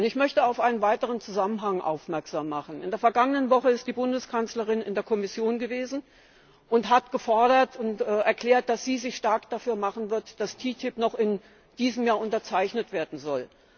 Ich möchte auf einen weiteren Zusammenhang aufmerksam machen. In der vergangenen Woche ist die Bundeskanzlerin in der Kommission gewesen und hat erklärt, dass sie sich stark dafür machen wird, dass TTIP noch in diesem Jahr unterzeichnet werden soll.